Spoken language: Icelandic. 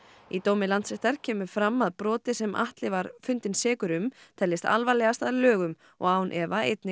í dómi Landsréttar kemur fram að brotið sem Atli var fundinn sekur um teljist alvarlegast að lögum og án efa einnig